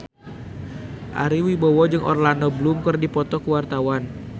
Ari Wibowo jeung Orlando Bloom keur dipoto ku wartawan